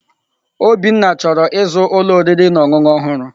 Obinna chọrọ ịzụ ụlọ oriri na ọṅụṅụ ọhụrụ.